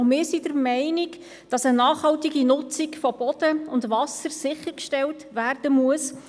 Auch wir sind der Meinung, dass eine nachhaltige Nutzung von Boden und Wasser sichergestellt werden muss.